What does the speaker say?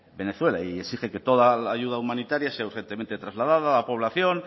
venezuela y exige que toda la ayuda humanitaria sea urgentemente trasladada a la población